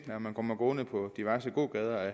når man kommer gående på diverse gågader